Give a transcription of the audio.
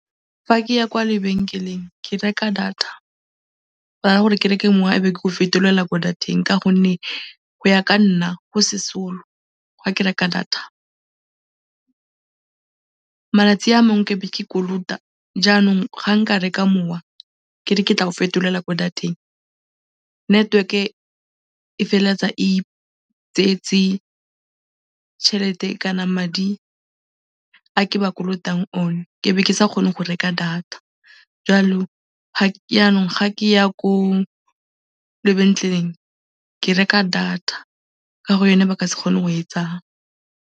Fa ke ya kwa lebenkeleng ke reka data go na le gore ke reke mowa ebe ke o fetolela kwa data-eng ka gonne go ya ka nna go sesolo fa ke reka data. Malatsi a mangwe ke a be ke kolota jaanong fa nka reka mowa ke re ke tla o fetolela ko data-eng, network-e e feleletsa e itseetse tšhelete kana madi a ke ba kolotang one ebe ke sa kgone go reka data. Jaanong fa ke ya ko lebetleleng ke reka data ka gore yone ba ka se kgone go e tsaya.